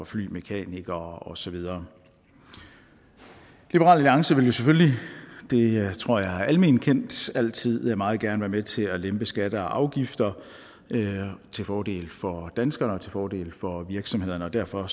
flymekanikere og så videre liberal alliance vil selvfølgelig det tror jeg er alment kendt altid meget gerne være med til at lempe skatter og afgifter til fordel for danskere til fordel for virksomhederne og derfor